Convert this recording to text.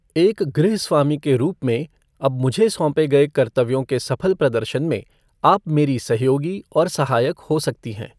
एक गृह स्वामी के रूप में अब मुझे सौंपे गए कर्तव्यों के सफल प्रदर्शन में आप मेरे सहयोगी और सहायक हो सकती हैं।